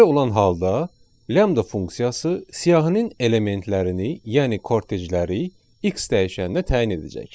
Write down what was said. Belə olan halda lambda funksiyası siyahinin elementlərini, yəni kortejləri x dəyişənində təyin edəcək.